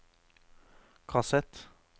kassett